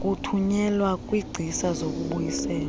kuthunyelwa kwingcisa lezokubuyisela